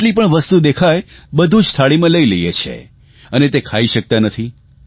જેટલી પણ વસ્તુ દેખાય બધું જ થાળીમાં લઇ લઇએ છીએ અને તે ખાઇ શકતા નથી